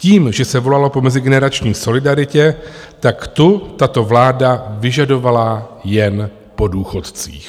Tím, že se volalo po mezigeneračním solidaritě, tak tu tato vláda vyžadovala jen po důchodcích.